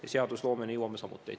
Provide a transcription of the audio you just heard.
Ja seadusloomeni jõuame samuti.